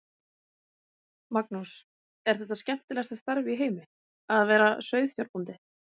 Magnús: Er þetta skemmtilegasta starf í heimi, að vera sauðfjárbóndi?